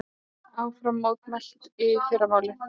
Áfram mótmælt í fyrramálið